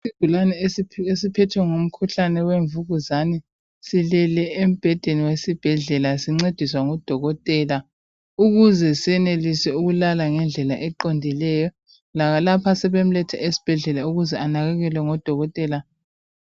Isigulane esiphethwe ngumkhuhlane wemvukuzane silele embhedeni wesibhedlela sincediswa ngudokotela ukuze senelise ukulala ngendlela eqondileyo lapha sebemlethe esibhedlela ukuze anakekelwe ngodokotela